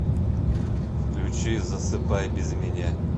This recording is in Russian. включи засыпай без меня